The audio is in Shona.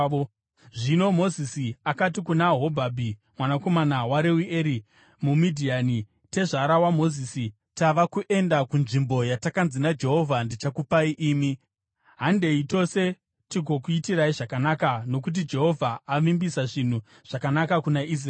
Zvino Mozisi akati kuna Hobhabhi mwanakomana waReueri muMidhiani, tezvara waMozisi, “Tava kuenda kunzvimbo yatakanzi naJehovha, ‘Ndichakupai imi.’ Handei tose tigokuitirai zvakanaka, nokuti Jehovha avimbisa zvinhu zvakanaka kuna Israeri.”